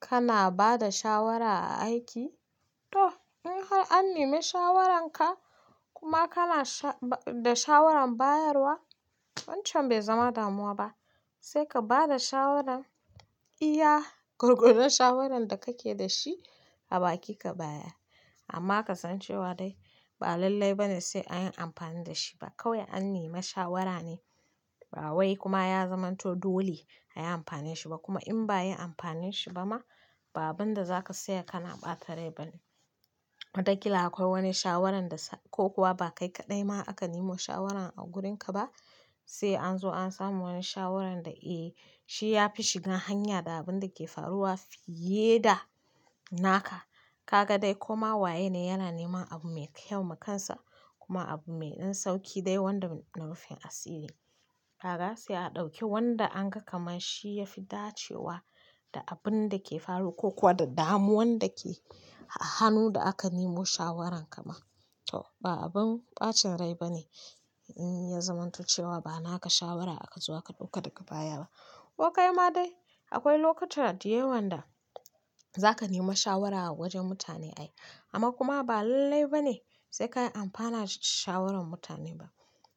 Kana ba da shawara a aiki? To, in har an nemi shawararka kuma kana da shawarar bayarwa, wancan bai zama damuwa ba. Sai ka ba da shawaran, iya gurgelun shawarar da kake da shi, a baki ka bayar. Amma ka san cewa dai ba lallai ba ne sai an yi amfani da shi ba. Kawai an nemi shawara ne, ba wai kuma ya zamanto dole a yi amfani da shi ba. Kuma in ba a yi amfanin shi ba ma, ba abin da za ka tsaya kana ɓata rai ba ne. Watakilan akwai wani shawaran dasa ko kuwa ba kai kadai ma aka nemo shawaran a gurin ka ba sai anzo an samu wani shawaran da eh shi yafi shiga hanya da abin da ke faruwa fiye da naka kaga dai koma waye ne yana neman abu mai kyau ma kan sa kuma abu mai dan sauki dai wanda na rufin asiri. Kaga sai a ɗauki wanda an ga kamar shi ya fi dacewa da abin da ke faru ko kuwa da damuwan da ke a hannun da aka nemo shawaran kama. To ba abin ɓacin rai ba ne in ya zamanto cewa ba naka shawara aka zo aka ɗauka daga baya ba. Ko kai ma dai akwai lokuta da yawon da zaka nema shawara a wajen mutane ai, amma kuma ba lallai ba ne sai ka yi amfana da shawaran mutanen ba.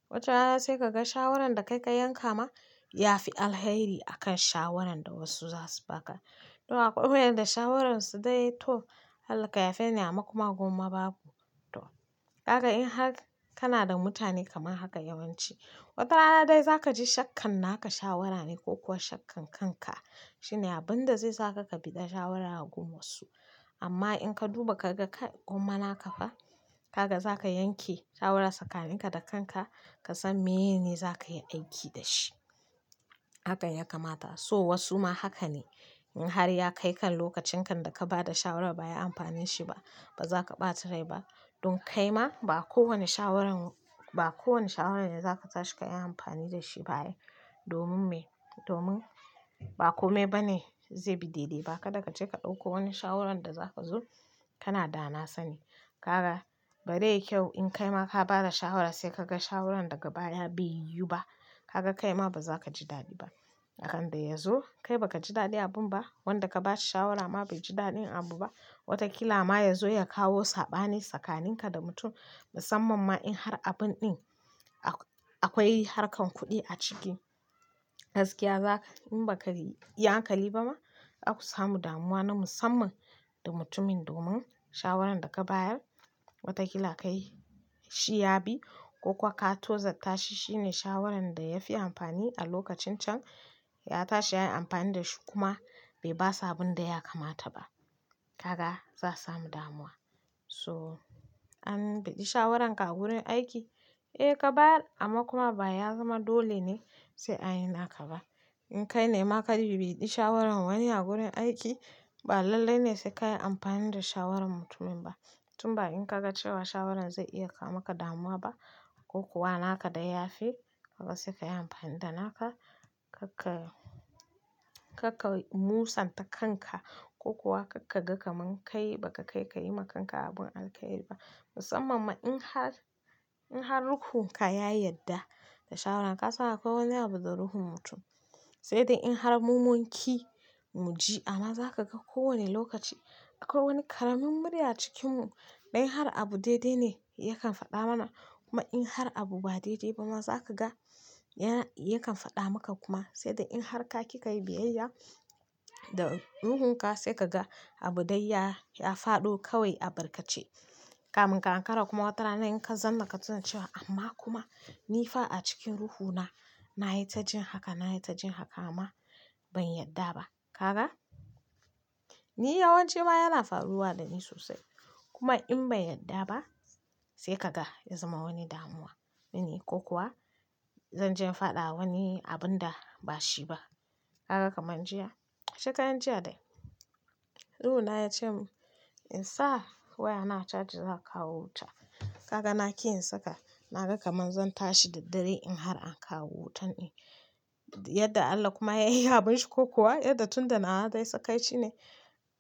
Watarana sai ka ga shawaran da kai ka yanka ma ya fi alheri akan shawaran da wasu za su baka. Don akwai wayanda shawararsu dai to, Allah ka yafeni, amma kuma gwamma babu. To, kaga in har kana da mutane kamar haka yawanci, watarana dai za ka ji shakkan na naka shawara ne ko kuwa shakkan kanka shine abin da zai saka ka bida shawara a guma su. Amma in ka duba ka ga kai gwamma naka fa, kaga za ka yanke shawara tsakaninka da kanka, ka san meye ne za ka yi aiki da shi. Haka ya kamata. So wasu ma haka ne, in har ya kai kan lokacin kan da ka ba da shawara ba ai yi amfani shi ba, ba za ka ɓata rai ba. Don kai ma ba kowane shawaran, ba kowane shawaran ne za ka tashi ka yi amfani da shi ba ai. Domin me? Domin ba kome ba ne zai bi daidai ba. Kada ka je ka ɗauko wani shawaran da za ka zo kana dana sani. Kaga ba zai kyau in kai ma ka ba da shawara sai ka ga shawaran daga baya bai yiwu ba. Kaga kai ma ba za ka ji daɗi ba. Akan da ya zo kai ba ka ji daɗin abun ba, wanda ka ba shi shawara ma bai ji daɗin abu ba. Watakila ma ya zo ya kawo saɓani tsakaninka da mutum, musamman ma in har abun ɗin akwai harkar kuɗi a ciki. Gaskiya za ka, in ba ka yi hankali ba ma, zaku samu damuwa na musamman da mutumin domin shawaran da ka bayar watakila kai shi ya bi ko kuwa ka tozarta shi shine shawaran da ya fi amfani a lokacin can, ya tashi ya yi amfani da shi kuma bai basa abin da ya kamata ba. Kaga za samu damuwa. So, an biɗi shawararka a gurin aiki? Eh ka bayar amma kuma ba ya zama dole ne sai an yi naka ba. In kai ne ma ka bi biɗi shawaran wani a gurin aiki, ba lallai ne sai ka yi amfani da shawaran mutumin ba. Tun ba in ka ga cewa shawaran zai iya kawo maka damuwa ba ko kuwa naka dai ya fi, kaga sai ka yi amfani da naka. Kakka, kakka musanta kanka ko kuwa kakka ga kamar kai ba ka kai ka yi ma kanka abun alkairi ba. Musamman ma in har in har ruhin ka ya yadda da shawaran ka san akwai wani abu da ruhin mutum sai dai in har mu munki muji amma zaka ga ko wani lokaci akwai wani karamin murya a cikin mu in har abu daidai ne yakan fada mana kuma in har abu ba daidai ba ma za ka ga ya, yakan faɗa maka kuma. Sai dai in har ka kika yi biyayya da ruhunka sai ka ga abu dai ya, ya faɗo kawai abarkace. Kamin ka ankara kuma watarana in ka zamma ka tuna cewa amma kuma ni fa a cikin ruhuna na yi ta jin haka, na yi ta jin haka amma ban yadda ba. Kaga? Ni yawanci ma yana faruwa da ni sosai. Kuma in ban yadda ba sai ka ga ya zama wani damuwa mini ko kuwa zanje in fada wani abinda bashi ba haka kamar jiya. Shekaran jiya dai, ruhuna ya ce in sa wayana charge za a kawo wuta. Kaga na ƙi in saka, na ga kamar zan tashi da dare in har an kawo wutan ne. Yadda Allah kuma ya yi abunshi ko kuwa yadda tun da na wa dai sakaicine,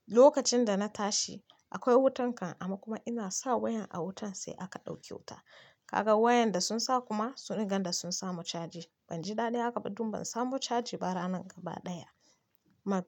lokacin da na tashi akwai wutan kan amma kuma ina sa wayan a wutan sai aka ɗauke wuta. Kaga wayan da sun sa kuma sun iganda sun samu charge. Ban ji daɗin haka ba don ban samu charge ba ranan gaba ɗaya. Maka.